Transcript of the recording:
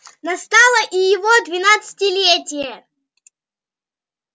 настало и его двенадцатилетие